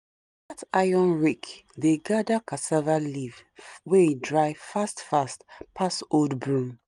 that iron rake dey gather cassava leave wey dry fast fast pass old broom